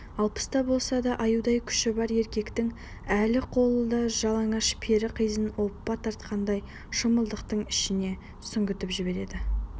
алпыста болса да аюдай күші бар еркектің әлді қолы жалаңаш пері қызын оппа тартқандай шымылдықтың ішіне сүңгітіп жібереді